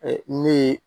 ne ye